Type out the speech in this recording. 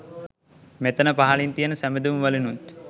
මෙතන පහළින් තියන සබැඳුම් වලිනුත්